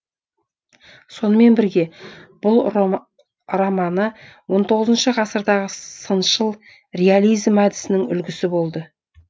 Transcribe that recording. сонымен бірге бұл романы ғасырдағы сыншыл реализм әдісінің үлгісі болды